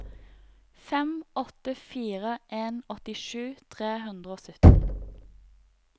fem åtte fire en åttisju tre hundre og sytten